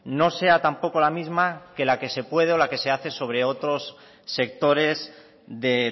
no sea tampoco la misma que la que se puede o la que se hace sobre otros sectores de